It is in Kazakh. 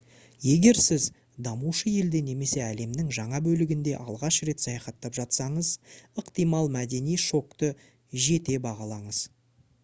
егер сіз дамушы елде немесе әлемнің жаңа бөлігінде алғаш рет саяхаттап жатсаңыз ықтимал мәдени шокты жете бағалаңыз